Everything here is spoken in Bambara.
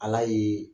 Ala ye